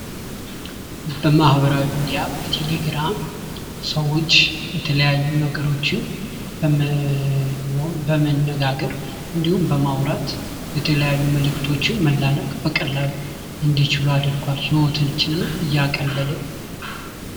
በማህበራዊ ሚዲያ በቴሌግራም ሰዎች የተለያዩ ነገሮችን በመነጋገር እንዲሁም በማውራት የተለያዩ መልክቶችን መላላክ በቀላሉ እንዲችሉ አድርጕል:: ሕይወታችንም እያቀለለ::